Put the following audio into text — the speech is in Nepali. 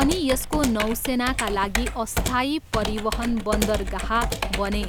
अनि यसको नौसेनाका लागि अस्थायी परिवहन बन्दरगाह बने।